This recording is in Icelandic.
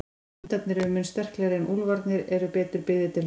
Hundarnir eru mun sterklegri en úlfarnir eru betur byggðir til hlaupa.